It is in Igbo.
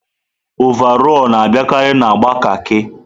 ọvarọọr na-abịakarị na agba kaki.